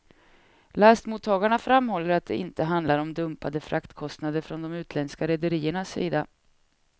Lastmottagarna framhåller att det inte handlar om dumpade fraktkostnader från de utländska rederiernas sida.